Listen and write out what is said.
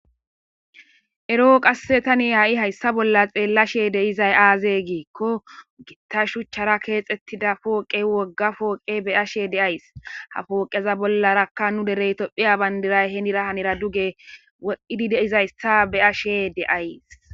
Ero qasse tani ha'i hayssa bolla xeellashe deizay aaze giikko gitta shuchchara keexettida pooqe wogga pooqe beyashe deays ha fooqeza bollarakka nu derey tophiya bayndiray henira hanera duge woidi deizayssa beashe deays.